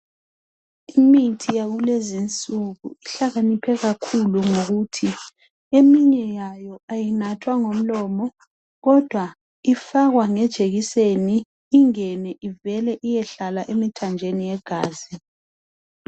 Imithi yakulezinsuku ihlakaniphe kakhulu ngokuthi eminye yayo ayinathwa ngomlomo kodwa ifakwa ngejekiseni ingene ivele iyehlala emithanjeni yegazi.